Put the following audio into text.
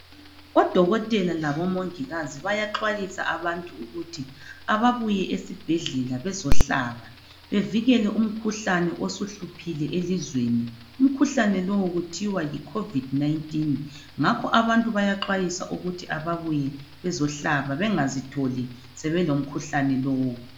Odokotela labomongikazi bayaxwayisa abantu ukuthi ababuye esibhedlela bezohlaba. Bevikele umkhuhlane osuhluphile elizweni. Umkhuhlane lowu kuthiwa Yi COVID-19. Ngakho abantu bayaxwayiswa ukuthi ababuye bezohlaba bengazitholi sebelomkhuhlane lowu.